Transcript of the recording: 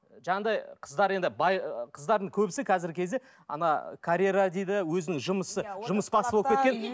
жаңағыдай қыздар енді бай қыздардың көбісі қазіргі кезде ана карьера дейді өзінің жұмысы жұмысбасты болып кеткен